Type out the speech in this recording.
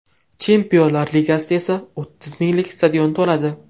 Chempionlar Ligasida esa o‘ttiz minglik stadion to‘ladi.